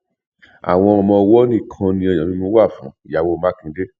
àwọn ọmọọwọ nìkan ni ọyàn mímu wà fún ìyàwó mákindé